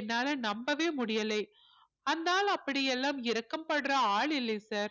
என்னால நம்பவே முடியலை அந்த ஆள் அப்படி எல்லாம் இரக்கப்படுற ஆள் இல்லை sir